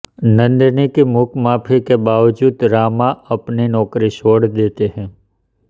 नंदिनी की मूक माफी के बावजूद रामा अपनी नौकरी छोड़ देता है